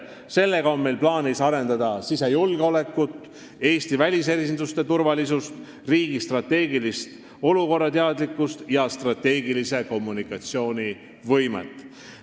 Sellega on meil plaanis arendada sisejulgeolekut, Eesti välisesinduste turvalisust, riigi strateegilist olukorrateadlikkust ja kommunikatsioonivõimet.